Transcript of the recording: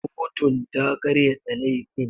Kotun ta karyata laifin.